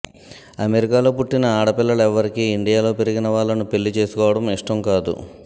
అమెరికాలో పుట్టిన ఆడపిల్లలెవ్వరికీ ఇండియాలో పెరిగిన వాళ్ళను పెళ్లి చేసుకోవడం ఇష్టం కాదు